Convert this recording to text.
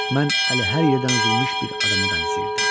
Mən hər yerdən üzülmüş bir adama bənzəyirdim.